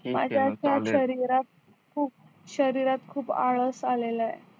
खूप शरीरात खूप आळस आलेला आहे